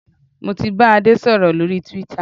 Mo ti bá Adé sọ̀rọ̀ lórí twitter